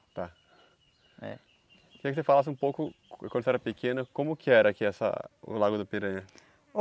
Tá. É. Queria que você falasse um pouco, quando o senhor era pequeno, como que era aqui essa o lago do Piranha?